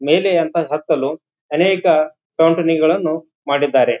ಮೇಲೆ ಅಂತ ಹತ್ತಲು ಅನೇಕ ಕಂಪನಿ ಗಳನ್ನು ಮಾಡಿದ್ದಾರೆ.